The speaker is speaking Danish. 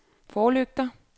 forlygter